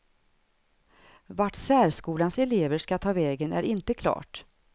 Vart särskolans elever ska ta vägen är inte klart.